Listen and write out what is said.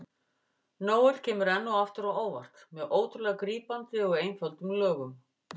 Noel kemur enn og aftur á óvart með ótrúlega grípandi og einföldum lögum.